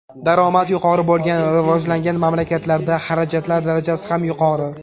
Daromad yuqori bo‘lgan rivojlangan mamlakatlarda xarajatlar darajasi ham yuqori.